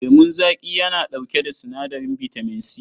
Lemun zaƙi yana ɗauke da sinadarin bitamin C.